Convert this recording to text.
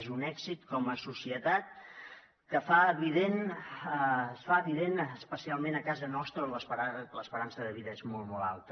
és un èxit com a societat que es fa evident especialment a casa nostra on l’esperança de vida és molt molt alta